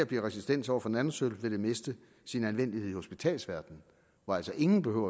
bliver resistente over for nanosølv vil det miste sin anvendelighed i hospitalsverdenen hvor altså ingen behøver